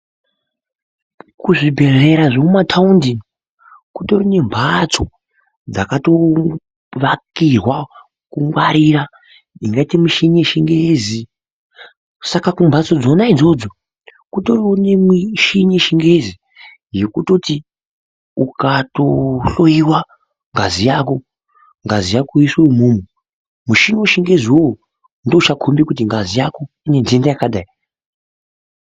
Kuzvibhedhlera zvomumataundi kutori nemhatso dzakatovakirwa kungwarira dzine muchini yechingezi. Saka kumhatso kona idzodzo kutori nemishini yechingezi yekutoti ukatohloyiwa ngazi yako. Ngazi yako yoiswa umomo. Muchini wechingezi iwoyo ndiwo uchakombe ngazi yako ine ntenda yakadii?